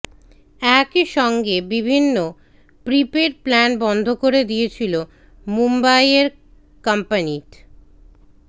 একই সঙ্গে বিভিন্ন প্রিপেড প্ল্যান বন্ধ করে দিয়েছিল মুম্বাইয়ের কোম্পানিট